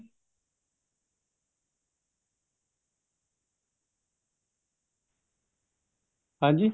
ਹਾਂਜੀ